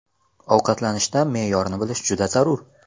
Ovqatlanishda me’yorni bilish juda zarur.